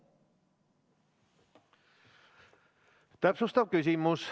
Täpsustav küsimus.